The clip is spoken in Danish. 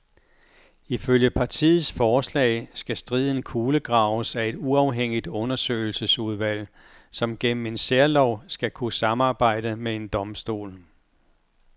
Ifølge partiets forslag skal striden kulegraves af et uafhængigt undersøgelsesudvalg, som gennem en særlov skal kunne samarbejde med en domstol.